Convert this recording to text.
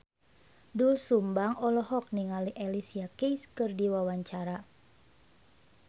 Doel Sumbang olohok ningali Alicia Keys keur diwawancara